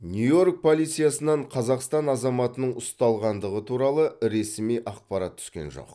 нью йорк полициясынан қазақстан азаматының ұсталғандығы туралы ресми ақпарат түскен жоқ